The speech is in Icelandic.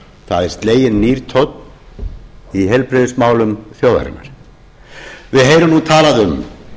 það er sleginn nýr tónn í heilbrigðismálum þjóðarinnar við heyrum nú talað um